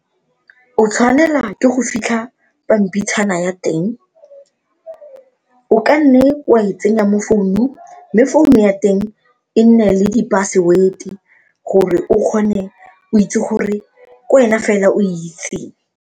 O tshwanela ke go fitlha pampitshana ya teng, o kanne wa e tsenya mo founung mme phone ya teng e nne le diphasewete gore o kgone o itse gore ke wena fela oe itseng.